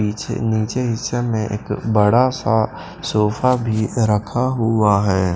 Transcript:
पीछे नीचे हिस्से में एक बड़ा सा सोफा भी रखा हुआ है।